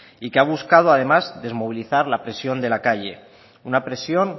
y que ha buscado además desmovilizar la presión de la calle una presión